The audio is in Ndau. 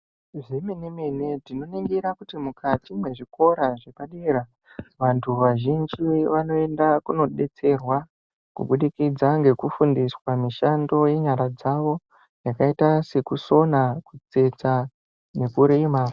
Zvemene-mene tinoningira kuti ,mukati mwezvikora zvepadera, vantu vazhinji vanoenda kunodetserwa kubudikidza kufundiswa mishando yenyara dzavo, yakaita sekusona ,kutsetsa nekurima.